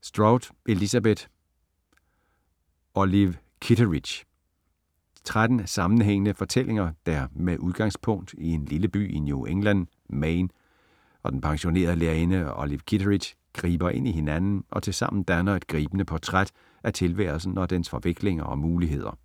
Strout, Elizabeth: Olive Kitteridge 13 sammenhængende fortællinger der, med udgangspunkt i en lille by i New England, Maine, og den pensionerede lærerinde Olive Kitteridge, griber ind i hinanden og tilsammen danner et gribende portræt af tilværelsen og dens forviklinger og muligheder.